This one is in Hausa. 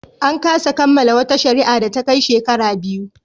An kasa kammala wata shari'a da ta kai shekara biyu.